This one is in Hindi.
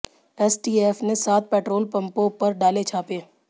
एसटीएफ ने सात पेट्रोल पंपों पर डाले छापे